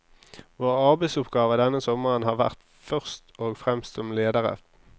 Våre arbeidsoppgaver denne sommeren har vært først og fremst som ledere.